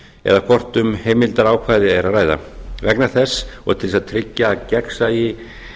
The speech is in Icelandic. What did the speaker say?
eða hvort um heimildarákvæði er að ræða vegna þess og til að tryggja að gegnsæi